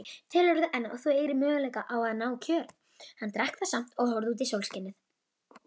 Telurðu enn að þú eigir möguleika á að ná kjöri?